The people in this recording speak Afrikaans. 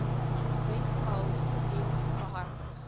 webpals diens behartig